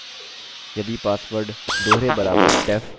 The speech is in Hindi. यदि पासवर्ड दोहरे बराबर def याद रखें